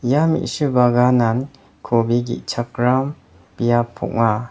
ia me·su baganan kobi ge·chakram biap ong·a.